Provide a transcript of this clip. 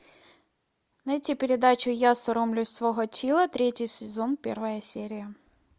найти передачу я соромлюсь свого тила третий сезон первая серия